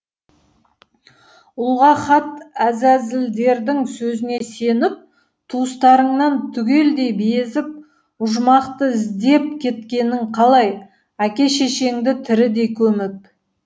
ұлға хат әзәзілдердің сөзіне сеніп туыстарыңнан түгелдей безіп ұжмақты іздеп кеткенің қалай әке шешеңді тірідей көміп